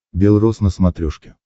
бел рос на смотрешке